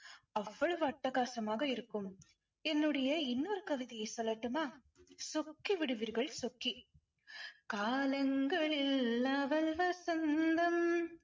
அவ்வளவு அட்டகாசமாக இருக்கும் என்னுடைய இன்னொரு கவிதையை சொல்லட்டுமா? சொக்கி விடுவீர்கள் சொக்கி. காலங்களில் அவள் வசந்தம்